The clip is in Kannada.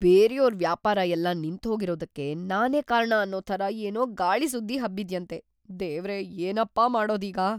ಬೇರ್ಯೋರ್‌ ವ್ಯಾಪಾರ ಎಲ್ಲ ನಿಂತ್ಹೋಗ್ತಿರೋದಕ್ಕೆ ನಾನೇ ಕಾರಣ ಅನ್ನೋ ಥರ ಏನೋ ಗಾಳಿ ಸುದ್ದಿ ಹಬ್ಬಿದ್ಯಂತೆ, ದೇವ್ರೇ! ಏನಪ್ಪಾ ಮಾಡೋದೀಗ?!